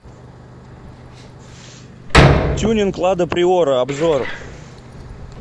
тюнинг лада приора обзор